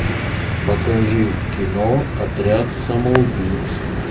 покажи кино отряд самоубийц